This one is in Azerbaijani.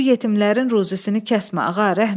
Bu yetimlərin ruzisini kəsmə, ağa, rəhm elə.